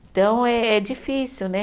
Então, é é difícil, né?